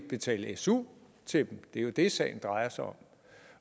betale su til dem det er jo det sagen drejer sig om